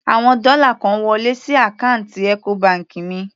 Àwọn dọ́là kan wọlé sí àkáǹtì Ecobank mi.